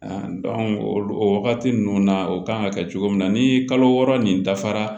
o wagati ninnu na o kan ka kɛ cogo min na ni kalo wɔɔrɔ nin dafara